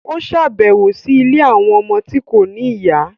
O ṣabẹwo sí ilé awọn ọmọ ti kò ní ìyá